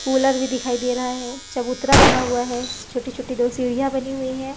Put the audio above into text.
Cooler भी दिखाई दे रहा है चबूतरा बना हुआ है छोटी-छोटी दो सीढ़ियां बनी हुई हैं।